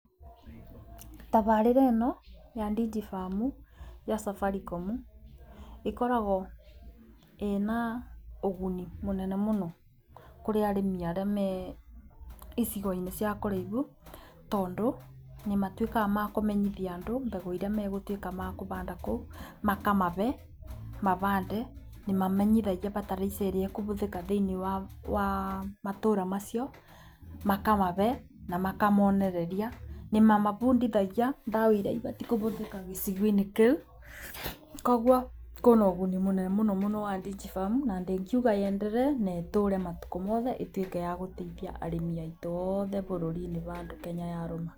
Tabarĩra ĩno ya Digifarm ya Safaricom ĩkoragwo ĩna ũguni mũnene mũno kũrĩ arĩmi arĩa me icigo-inĩ cia kũraibu. Tondũ nĩ matuikaga ma kũmenyithia andũ mbegũ iria megũtuĩka makũbanda kũu, makamabe mabande nĩ mamenyithagia bataraica ĩrĩa ĩkũbũthĩka thĩinĩ wa matũra macio makamabe na makamonereria. Nĩ mamabundithagia ndawa iria ibatiĩ kũbũthika gĩcigo-inĩ kĩu koguo kwĩna ũguni mũnene mũno wa Digifaram na ingiuga yenderee na ĩtũre matukũ mothe ĩtuĩke ya gũteithia arĩmi aitũ othe bũrũri-inĩ bandũ Kenya yarũma.